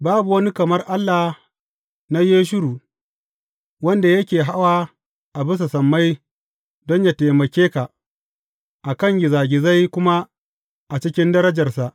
Babu wani kamar Allah na Yeshurun, wanda yake hawa a bisa sammai don yă taimake ka a kan gizagizai kuma a cikin darajarsa.